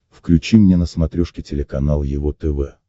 включи мне на смотрешке телеканал его тв